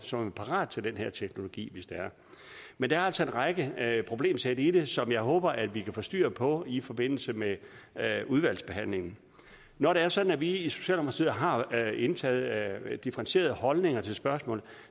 som er parate til den her teknologi men der er altså en række problemsæt i det som jeg håber at vi kan få styr på i forbindelse med udvalgsbehandlingen når det er sådan at vi i socialdemokratiet har indtaget differentierede holdninger til spørgsmålet